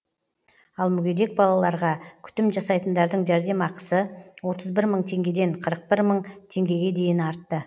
ал мүгедек балаларға күтім жасайтындардың жәрдемақысы отыз бір мың теңгеден қырық бір мың теңгеге дейін артты